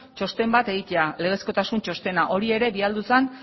txosten bat egitea legezkotasun txostena hori ere bidali zen